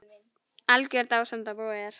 Algjör dásemd að búa hérna.